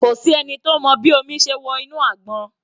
Kò sí ẹni tó mọ bí omi ṣe wọ inú àgbọn.